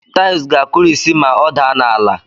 Tiles ga akurisi ma ọda naala